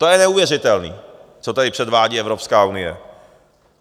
To je neuvěřitelné, co tady předvádí Evropská unie.